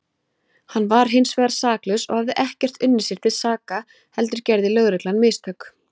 Hann var hinsvegar saklaus og hafði ekkert unnið sér til saka heldur gerði lögreglan mistök.